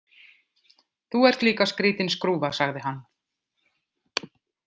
Þú ert líka skrítin skrúfa, sagði hann.